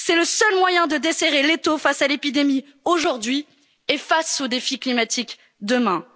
ces tabous. C'est le seul moyen de desserrer l'étau face à l'épidémie aujourd'hui et face au défi climatique